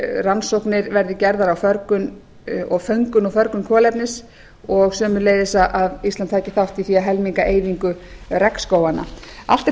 rannsóknir verði gerðar á föngun og förgun kolefnis og sömuleiðis að ísland taki þátt í því að helminga eyðingu regnskóganna allt er